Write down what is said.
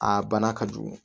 A bana ka jugu